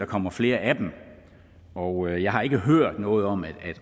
kommer flere af dem og jeg har ikke hørt noget om at